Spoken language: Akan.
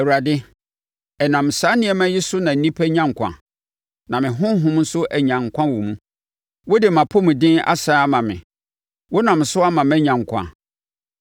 Awurade, ɛnam saa nneɛma yi so na nnipa nya nkwa na me honhom nso anya nkwa wɔ mu. Wode mʼapɔmuden asane ama me. Wonam so ama manya nkwa.